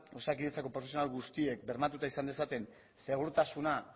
osakidetzako profesional guztiek bermatuta izan dezaten segurtasuna